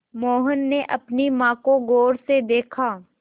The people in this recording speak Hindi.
मोहन ने अपनी माँ को गौर से देखा